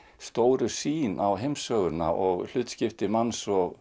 stóru sýn á heimssöguna og hlutskipti manns og